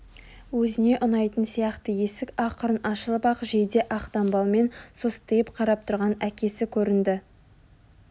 Өзіне ұнайтын сияқты есік ақырын ашылып ақ жейде ақ дамбалмен состиып қарап тұрған әкесі көрінді